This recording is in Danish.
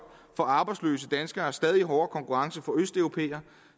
får arbejdsløse danskere stadig hårdere konkurrence fra østeuropæere